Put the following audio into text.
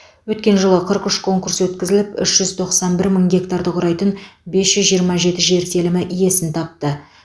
өткен жылы қырық үш конкурс өткізіліп үш жүз тоқсан бір мың гектарды құрайтын бес жүз жиырма жеті жер телімі иесін тапты